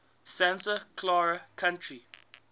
santa clara county